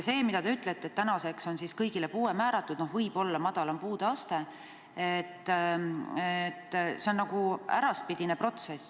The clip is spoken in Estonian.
See, kui te ütlete, et tänaseks on kõigile puue määratud – no võib-olla madalam puudeaste –, on nagu äraspidine protsess.